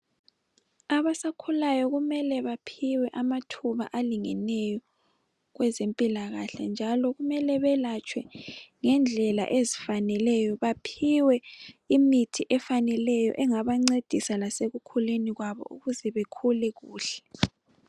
Abasakhulayo kumele baphiwe amathuba alingeneyo kwezempilakahle njalo kumele belatshwe ngendlela ezifaneleyo baphiwe imithi efaneleyo engabancedisa lasekukhuleni kwabo ukuze bekhule kuhle.